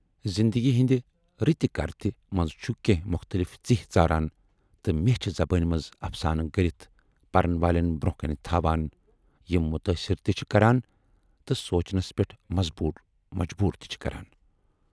زِندگی ہٕندِ رٕتہِ کرٕتہِ منز چھُ کینہہ مختلف ژِہۍ ژاران تہٕ میچھِ زبٲنۍ منز اَفسانہٕ گٔرِتھ پَرن والٮ۪ن برونہہ کَنہِ تھاوان یِم مُتٲثِر تہِ چھِ کَران تہٕ سونچنس پٮ۪ٹھ مجبوٗر تہِ چھِ کَران۔